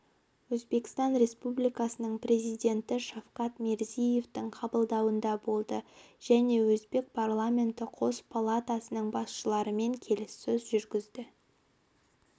өзбекстан республикасының президенті шавкат мирзиевтің қабылдауында болды және өзбек парламенті қос палатасының басшыларымен келіссөз жүргізді